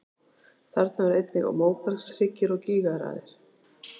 Þarna eru einnig móbergshryggir og gígaraðir.